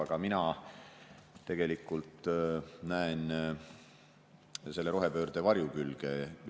Aga mina tegelikult näen selle rohepöörde varjukülgi.